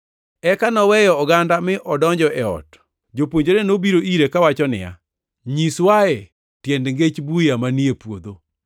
Eka noweyo oganda mi odonjo e ot. Jopuonjrene nobiro ire kawacho niya, “Nyiswae tiend ngech buya manie puodho.”